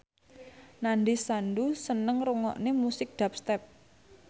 Nandish Sandhu seneng ngrungokne musik dubstep